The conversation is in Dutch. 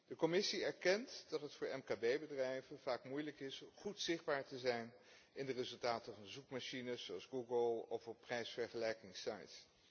De Commissie erkent dat het voor mkb bedrijven vaak moeilijk is om goed zichtbaar te zijn in de resultaten van zoekmachines, zoals Google, of op prijsvergelijkingssites.